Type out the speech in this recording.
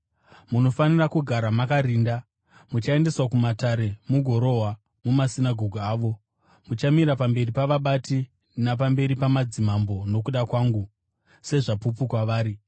“Munofanira kugara makarinda. Muchaendeswa kumatare mugorohwa mumasinagoge avo. Muchamira pamberi pavabati napamberi pamadzimambo nokuda kwangu, sezvapupu kwavari.